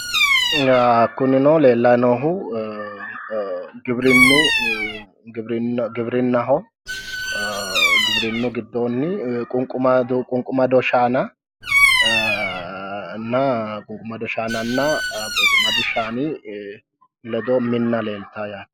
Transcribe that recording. kunino leellayi noohu giwirinnaho giwirinnu giddonni qunqumado shaanana ee qunqumqdi shaani ledo minna leeltanno yaate